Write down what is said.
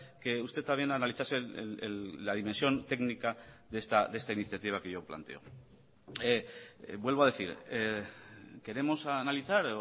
que usted también analizase la dimensión técnica de esta iniciativa que yo planteo vuelvo a decir queremos analizar